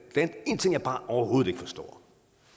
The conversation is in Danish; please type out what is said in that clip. en ting jeg bare overhovedet ikke forstår